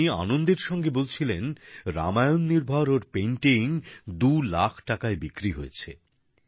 তিনি আনন্দের সঙ্গে বলছিলেন রামায়ণ নির্ভর ওঁর পেইন্টিং দুলাখ টাকায় বিক্রি হয়েছে